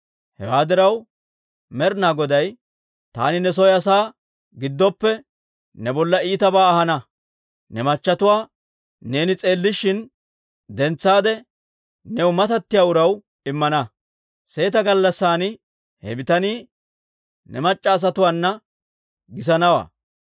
«Hewaa diraw Med'inaa Goday, ‹Taani ne soo asaa giddoppe ne bolla iitabaa ahana; ne machatuwaa neeni s'eellishin dentsaade, new matattiyaa uraw immana; seeta gallassan he bitanii ne mac'c'a asatuwaana gisanawaa.